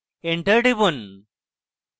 enter টিপুন